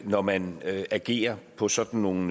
når man agerer på sådan nogle